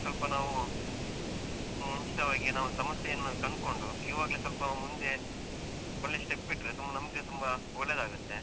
ಸ್ವಲ್ಪ ನಾವು ಮುಂಚಿತವಾಗಿ ನಾವು ಸಮಸ್ಯೆ ಅನ್ನು ಕನ್ಕೊಂಡು ಇವಾಗ್ಲೆ ಸ್ವಲ್ಪ ಮುಂದೆ ಒಳ್ಳೆ step ಇಟ್ರೆ ತುಂಬ ನಮ್ಗೆ ತುಂಬ ಒಳ್ಳೆದಾಗುತ್ತೆ.